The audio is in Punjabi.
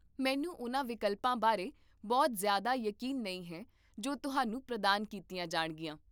ਮੈਨੂੰ ਉਹਨਾਂ ਵਿਕਲਪਾਂ ਬਾਰੇ ਬਹੁਤ ਜ਼ਿਆਦਾ ਯਕੀਨ ਨਹੀਂ ਹੈ ਜੋ ਤੁਹਾਨੂੰ ਪ੍ਰਦਾਨ ਕੀਤੀਆਂ ਜਾਣਗੀਆਂ